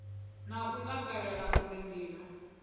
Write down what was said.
na u takalela uri ndima